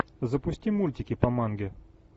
запусти мультики по манге